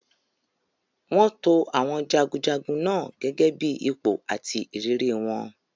Wọ́n to àwọn jagunjagun náà gẹ́gẹ́ bí ipò àti ìrírí wọn.